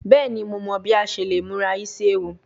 Bẹẹni Mo mọ bi a ṣe le mura isi ewu